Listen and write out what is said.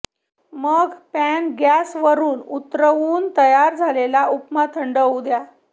मग pan gas वरून उतरवून तयार झालेला उपमा थंड होऊ द्या